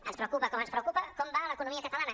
ens preocupa com ens preocupa com va l’economia catalana